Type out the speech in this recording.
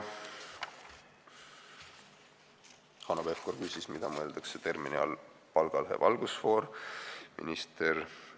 Hanno Pevkur küsis, mida mõeldakse termini "palgalõhe valgusfoor" all.